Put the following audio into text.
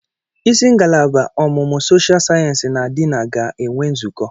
Isi ngalaba ọmụmụ soshial sayensị na diini ga-enwe nzukọ.